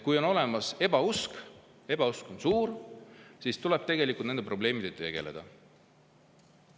Kui on olemas ebausk, kui ebausk on suur, siis tuleb tegelikult nende probleemidega tegeleda.